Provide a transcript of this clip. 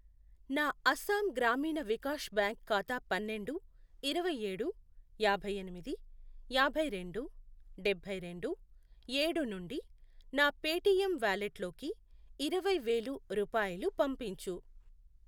నా అస్సాం గ్రామీణ వికాష్ బ్యాంక్ ఖాతా పన్నెండు, ఇరవైఏడు, యాభై ఎనిమిది, యాభై రెండు, డబ్బై రెండు, ఏడు, నుండి నా పేటిఎమ్ వాలెట్లోకి ఇరవై వేలు రూపాయలు పంపించు.